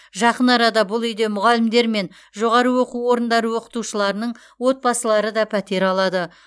жақын арада бұл үйде мұғалімдер мен жоғары оқу орындары оқытушыларының отбасылары да пәтер алады